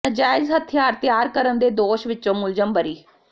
ਨਾਜਾਇਜ਼ ਹਥਿਆਰ ਤਿਆਰ ਕਰਨ ਦੇ ਦੋਸ਼ ਵਿੱਚੋਂ ਮੁਲਜ਼ਮ ਬਰੀ